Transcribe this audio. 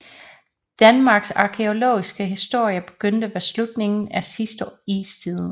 Danmarks arkæologiske historie begyndte ved slutningen af sidste istid